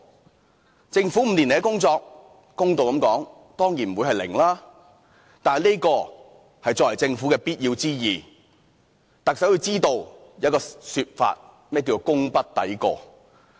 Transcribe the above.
公道的說，政府5年來的工作，當然不會是"零"，這是作為政府的必要之義，但特首要知道"功不抵過"這種說法的意思。